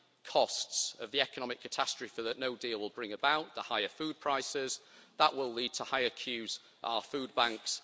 costs of the economic catastrophe that no deal' will bring about, the higher food prices that will lead to higher queues at our food banks.